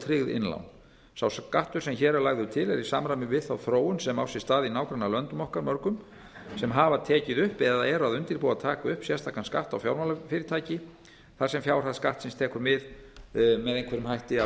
tryggð innlán sá skattur sem hér er lagður til er í samræmi við þá þróun sem á sér stað í nágrannalöndum okkar mörgum sem hafa tekið upp eða eru að undirbúa að taka upp sérstakan skatt á fjármálafyrirtæki þar sem fjárhæð skattsins tekur mið með einhverjum hætti af